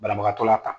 Banabagatɔ la tan